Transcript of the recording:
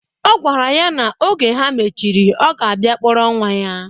Ọ gwara ya na oge ha mechiri, ọ ga-abịa kpọrọ nwa ya.